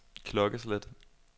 klokkeslæt